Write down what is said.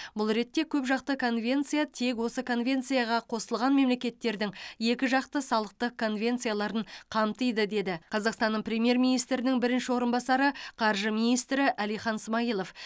бұл ретте көпжақты конвенция тек осы конвенцияға қосылған мемлекеттердің екіжақты салықтық конвенцияларын қамтиды деді қазақстанның премьер министрінің бірінші орынбасары қаржы министрі әлихан смайылов